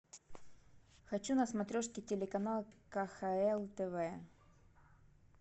хочу на смотрешке телеканал кхл тв